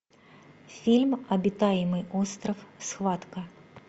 фильм обитаемый остров схватка